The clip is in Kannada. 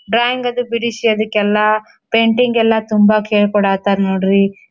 ಬ್ಯಾಂಗದು ಬಿಡಿಸಿ ಅದಿಕ್ಕೆಲ್ಲಾ ಪೇಂಟಿಂಗ್ ಎಲ್ಲಾ ತುಂಬಾ ಕೇಳ್ಕೊಡತಾರ್ ನೋಡ್ರಿ .